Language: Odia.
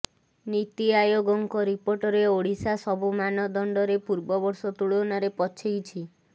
ନୀତି ଆୟୋଗଙ୍କ ରିପୋର୍ଟରେ ଓଡ଼ିଶା ସବୁ ମାନଦଣ୍ଡରେ ପୂର୍ବବର୍ଷ ତୁଳନାରେ ପଛେଇଛି